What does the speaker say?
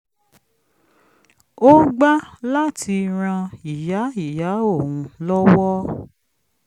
ó gbá láti ran ìyá ìyá òun lọ́wọ́